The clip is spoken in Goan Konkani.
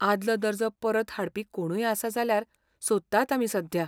आदलो दर्जो परत हाडपी कोणूय आसा जाल्यार सोदतात आमी सध्या.